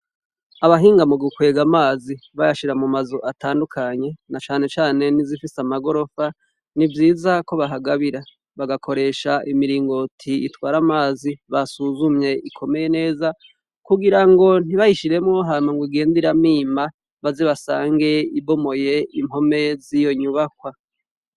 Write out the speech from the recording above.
Abahinga mu gukwega amazi ,bayashira mu mazu atandukanye na cane cane nizifise amagorofa, nivyiza ko bahagabira bagakoresha imiringo uti itware amazi basuzumye ikomeye neza kugira ngo ntibahishiremo hana ngo igende iramima baze basange ibomoye impome z'iyo nyubakwa.